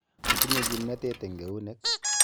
Otinye kimnatet eng eunek.